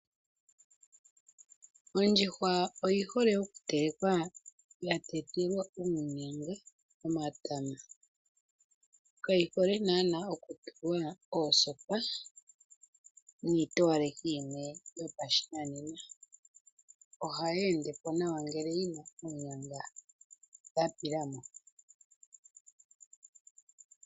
Ondjuhwa oyi hole okutelekwa yatetelwa uunyanga nomatama. Kayi hole naanaa okutulwa oosopa niitowalekitho yimwe yopashinanena. Ohayi endepo nawa ngele yina oonyanga dhapilamo.